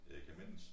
Jeg kan mindes